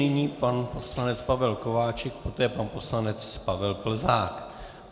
Nyní pan poslanec Pavel Kováčik, poté pan poslanec Pavel Plzák.